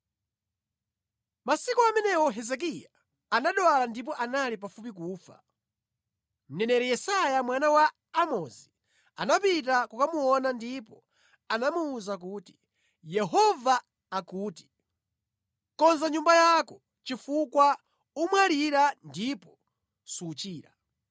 Masiku amenewo Hezekiya anadwala ndipo anali pafupi kufa. Mneneri Yesaya, mwana wa Amozi anapita kukamuona ndipo anamuwuza kuti, “Yehova akuti: Konza nyumba yako chifukwa umwalira ndipo suchira.”